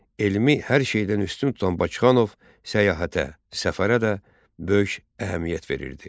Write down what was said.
Elmi hər şeydən üstün tutan Bakıxanov səyahətə, səfərə də böyük əhəmiyyət verirdi.